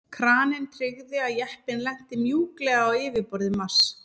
Kraninn tryggði að jeppinn lenti mjúklega á yfirborði Mars.